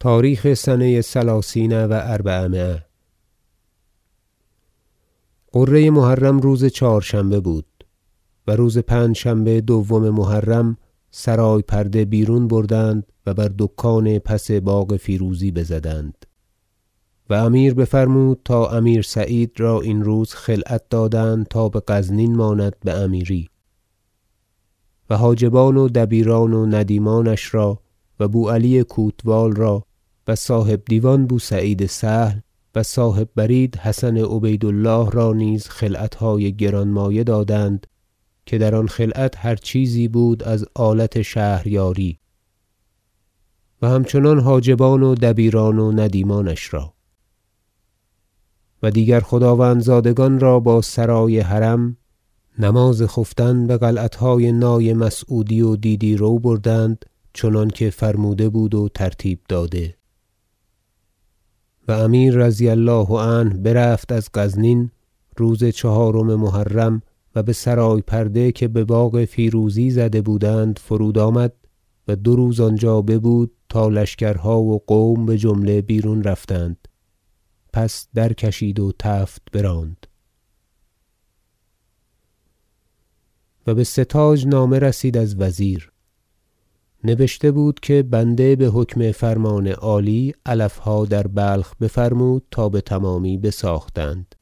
تاریخ سنه ثلثین و اربعمایه غره محرم روز چهارشنبه بود و روز پنجشنبه دوم محرم سرای پرده بیرون بردند و بر دکان پس باغ فیروزی بزدند و امیر بفرمود تا امیر سعید را این روز خلعت دادند تا بغزنین ماند بامیری و حاجبان و دبیران و ندیمانش را و بو علی کوتوال را و صاحب دیوان بو سعید سهل و صاحب برید حسن عبید الله را نیز خلعتهای گرانمایه دادند که در آن خلعت هر چیزی بود از آلت شهریاری و همچنان حاجبان و دبیران و ندیمانش را و دیگر خداوند زادگان را با سرای حرم نماز خفتن بقلعتهای نای مسعودی و دیدی رو بردند چنانکه فرموده بود و ترتیب داده و امیر رضی الله عنه برفت از غزنین روز چهارم محرم و بسرای پرده که بباغ فیروزی زده- بودند فرود آمد و دو روز آنجا ببود تا لشکرها و قوم بجمله بیرون رفتند پس درکشید و تفت براند و به ستاج نامه رسید از وزیر نبشته بود که بنده بحکم فرمان عالی علفها در بلخ بفرمود تا بتمامی بساختند